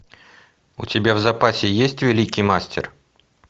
у тебя в запасе есть великий мастер